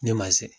Ne ma se